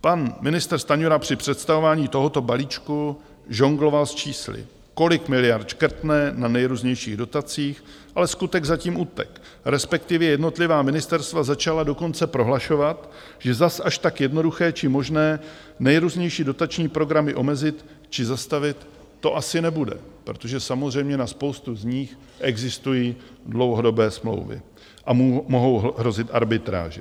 Pan ministr Stanjura při představování tohoto balíčku žongloval s čísly, kolik miliard škrtne na nejrůznějších dotacích, ale "skutek zatím utek", respektive jednotlivá ministerstva začala dokonce prohlašovat, že zas až tak jednoduché či možné nejrůznější dotační programy omezit či zastavit, to asi nebude, protože samozřejmě na spoustu z nich existují dlouhodobé smlouvy a mohou hrozit arbitráže.